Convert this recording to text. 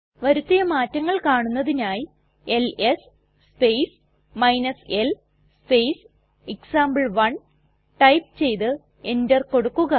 വരുത്തിയ മാറ്റങ്ങൾ കാണുന്നതിനായി L S space l space example one type ചെയ്ത് എന്റർ കൊടുക്കുക